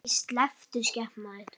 Æi, slepptu skepnan þín!